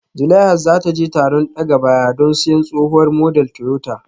Zulaihat za ta je taron daga baya don siyan tsohuwar model Toyota